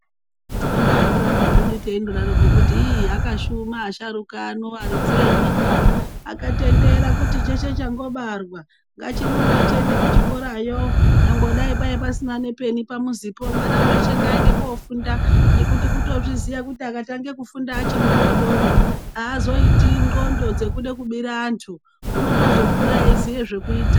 Tinobaandorambazvedu teindodaroko kuti iii akashuma asharuka ano aridzi enyika akatendera kuti cheshe changobarwa ngachirumbe chiende kuchikorayo nyangwe dai kwai pasina nepeni pamuzipo mwana weshe ngaende kofunda ngekuti kutozviziya kuti akatange kufunda achi mudodori azoiti nxlondo dzekude kubire antu unozotokura eiziye zvekuita.